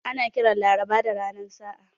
Ana kiran Laraba da ranar sa'a.